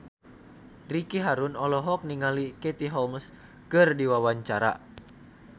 Ricky Harun olohok ningali Katie Holmes keur diwawancara